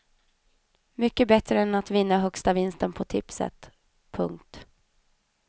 Mycket bättre än att vinna högsta vinsten på tipset. punkt